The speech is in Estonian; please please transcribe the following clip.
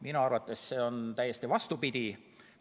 Minu arvates on see täiesti vastupidi.